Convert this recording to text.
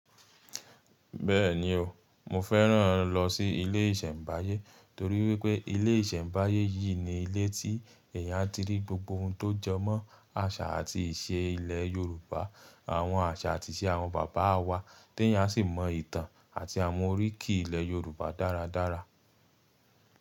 Bẹ́ẹ̀ni o, mo fẹ́ràn lọ sí ilé ìṣẹ̀mbáyé torí wípé ilé ìṣẹ̀mbáyé yìí ni ilé tí èèyàn ti rí gbogbo ohun tó jọ mọ́ àṣà àti ìṣe ilẹ̀ Yorùbá, àwọn àṣà àti ìṣe àwọn bàbá wa tí èèyàn sì mọ ìtàn àti àwọn oríkì ilẹ̀ Yorùbá dáradára.